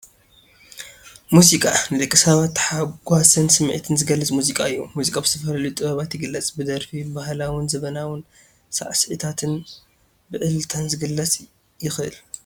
ሙዚቃ፡- ናይ ደቂ ሰባት ታሕጓስን ስምዒትን ዝገልፅ መዚቃ እዩ፡፡ ሙዚቃ ብዝተፈላለዩ ጥበባት ይግለፅ፡፡ ብደርፊ፣ ብባህላዊን ዘበናውን ሳዕሲዒታትን ብዕልልታን ክግለፅ ይኽእል፡፡